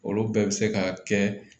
Olu bɛɛ bɛ se ka kɛ